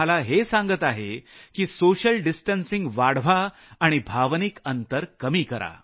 मी पुन्हा सांगतो की सोशल डिस्टन्सिंग वाढवा आणि भावनिक अंतर कमी करा